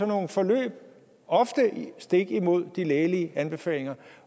nogle forløb ofte stik imod de lægelige anbefalinger